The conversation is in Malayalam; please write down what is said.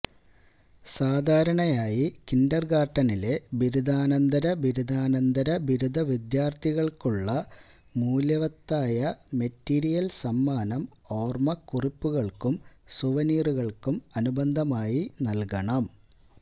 സാധാരണയായി കിൻഡർഗാർട്ടനിലെ ബിരുദാനന്തര ബിരുദാനന്തര ബിരുദവിദ്യാർത്ഥികൾക്കുള്ള മൂല്യവത്തായ മെറ്റീരിയൽ സമ്മാനം ഓർമ്മക്കുറിപ്പുകൾക്കും സുവനീറുകൾക്കും അനുബന്ധമായി നൽകണം